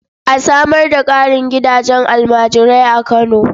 A samar da ƙarin gidajen almajirai a Kano.